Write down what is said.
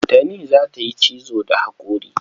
Tani za ta yi cizo da haƙori.